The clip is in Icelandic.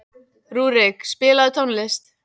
Rúrik, spilaðu tónlist.